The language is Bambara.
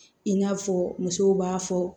I n'a fɔ musow b'a fɔ